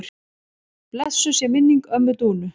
Blessuð sé minning ömmu Dúnu.